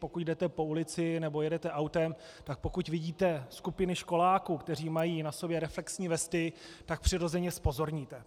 Pokud jdete po ulici nebo jedete autem, tak pokud vidíte skupiny školáků, kteří mají na sobě reflexní vesty, tak přirozeně zpozorníte.